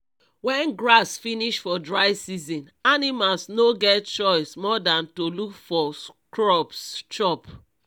wen grass finish for dry season animals no get choice more than to look for shrubs chop